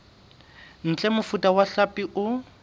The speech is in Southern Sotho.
ntle mofuta wa hlapi o